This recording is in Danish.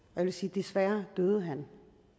desværre døde han